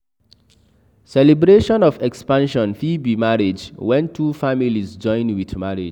Celebration of expansion fit be marriage, when two families join with marriage